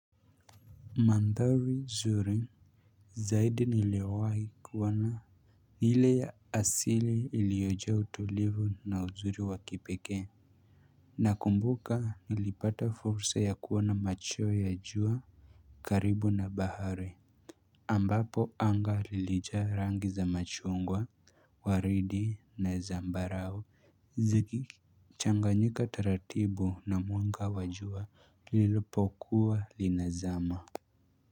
Mandhari zuri zaidi niliyowai kuona, ni ile ya asili iliyojaa utulivu na uzuri wa kipekee nakumbuka nilipata fursa ya kuona machweo ya jua karibu na bahari ambapo anga lilijaa rangi za machungwa waridi na zambarao zikichanganyika taratibu na mwanga wa jua lilipokuwa linazama.